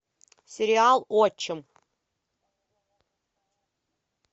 сериал отчим